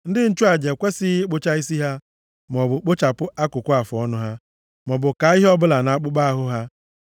“ ‘Ndị nchụaja ekwesighị ịkpụcha isi ha, maọbụ kpụchapụ akụkụ afụọnụ ha, maọbụ kaa ihe ọbụla nʼakpụkpọ ahụ ha. + 21:5 \+xt Lev 19:28; Izk 44:20\+xt*